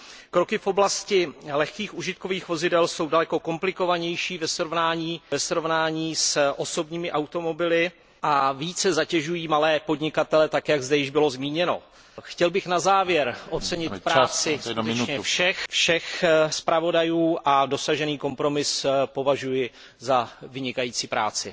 Kroky v oblasti lehkých užitkových vozidel jsou daleko komplikovanější ve srovnání s osobními automobily a více zatěžují malé podnikatele tak, jak zde již bylo zmíněno. Chtěl bych na závěr ocenit práci skutečně všech zpravodajů a dosažený kompromis považuji za vynikající práci.